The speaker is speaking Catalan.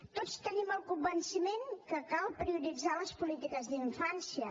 tots tenim el convenciment que cal prioritzar les polítiques d’infància